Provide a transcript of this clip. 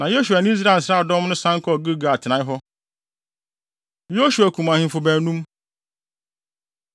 Na Yosua ne Israel nsraadɔm no san kɔɔ Gilgal atenae hɔ. Yosua Kum Ahemfo Baanum